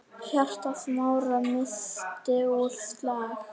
Hjarta Smára missti úr slag.